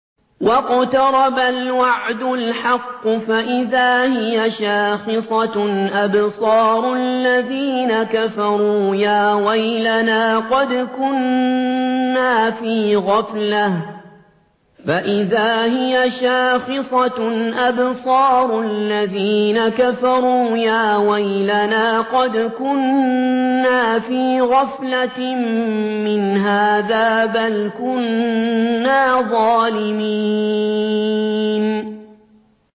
وَاقْتَرَبَ الْوَعْدُ الْحَقُّ فَإِذَا هِيَ شَاخِصَةٌ أَبْصَارُ الَّذِينَ كَفَرُوا يَا وَيْلَنَا قَدْ كُنَّا فِي غَفْلَةٍ مِّنْ هَٰذَا بَلْ كُنَّا ظَالِمِينَ